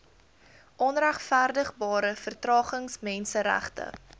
onregverdigbare vertragings menseregte